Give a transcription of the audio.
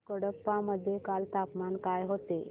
कडप्पा मध्ये काल तापमान काय होते